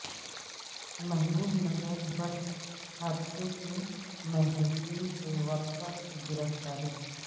محبوب نگر بس حادثہ کے مہلوکین کے ورثا کی گرفتاری